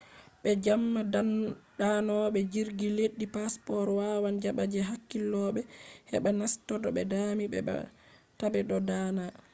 be jamma danobe jirgi leddi passports wawan jaba je hakkilobe heba naseto be dami be ba tabe do dana